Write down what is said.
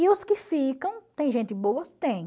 E os que ficam, tem gentes boas, tem.